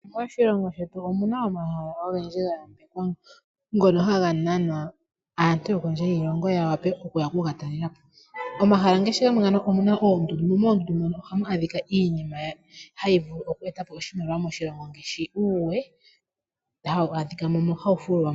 Moshilongo shetu omu na omahala ogendji ga yambekwa ngono haga nana aantu yokondje yiilongo ya wape okuya okuga talela po. Omahala ngaashi gamwe ngano ohamu adhika oondundu mo moondundu omu na iinima hayi vulu oku eta po oshimaliwa moshilongo ngaashi uuwe hawu adhika moka hawu fulwa mo.